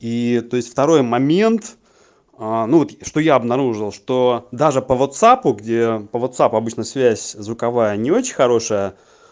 и ээ то есть второй момент аа ну вот что я обнаружил что даже по ватсапу где по ватсапу обычно связь звуковая не очень хорошая